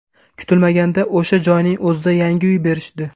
Kutilmaganda o‘sha joyning o‘zida yangi uy berishdi.